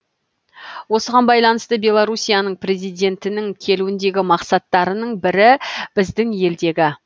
осыған байланысты беларусияның президентінің келуіндегі мақсаттарының бірі біздің елдегі